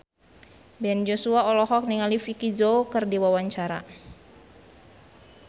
Ben Joshua olohok ningali Vicki Zao keur diwawancara